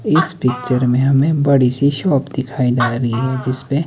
इस पिक्चर में हमें बड़ी सी शॉप दिखाई दे रही है जिसपे--